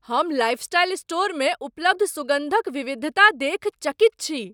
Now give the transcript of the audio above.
हम लाइफस्टाइल स्टोरमे उपलब्ध सुगन्धक विविधता देखि चकित छी।